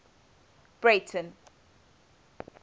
breyten